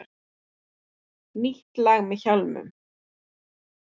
Nýtt lag með Hjálmum